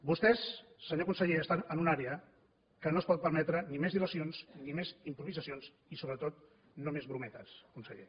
vostès senyor conseller estan en una àrea que no es pot permetre ni més dilacions ni més improvisacions i sobretot no més brometes conseller